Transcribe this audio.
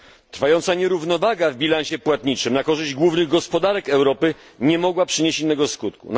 Trwająca nierównowaga w bilansie płatniczym na korzyść głównych gospodarek Europy nie mogła przynieść innego skutku.